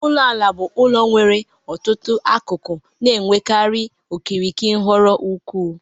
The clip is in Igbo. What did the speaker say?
Ulo ala bụ ụlọ nwere otu akụkọ na-enwekarị okirikiri nhọrọ ukwuu.